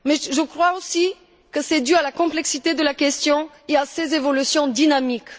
Je crois aussi que c'est dû à la complexité de la question et à ses évolutions dynamiques.